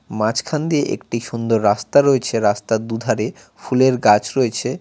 মাঝখান দিয়ে একটি সুন্দর রাস্তা রয়েছে রাস্তার দুধারে ফুলের গাছ রয়েছে।